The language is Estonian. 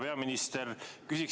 Hea peaminister!